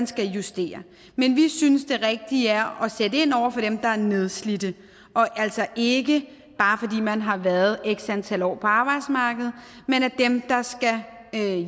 skal justeres men vi synes det rigtige er at sætte ind over for dem der er nedslidte og altså ikke bare fordi man har været x antal år på arbejdsmarkedet dem der skal